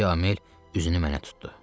Müsyö Amel üzünü mənə tutdu.